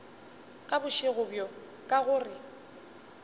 ka bošego bjo ka gore